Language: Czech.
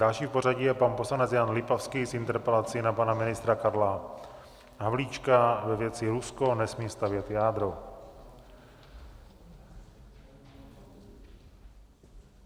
Další v pořadí je pan poslanec Jan Lipavský s interpelací na pana ministra Karla Havlíčka ve věci Rusko nesmí stavět jádro.